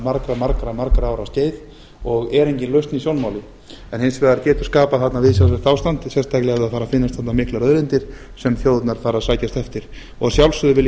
margra margra margra ára skeið og er engin lausn í sjónmáli hins vegar getur skapast þarna viðsjárvert ástand sérstaklega ef það fara að finnast þarna miklar auðlindir sem þjóðirnar fara að sækjast eftir að sjálfsögðu vil ég að